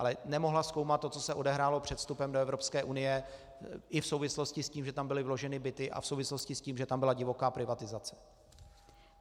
Ale nemohla zkoumat to, co se odehrálo před vstupem do Evropské unie, i v souvislosti s tím, že tam byly vloženy byty, a v souvislosti s tím, že tam byla divoká privatizace.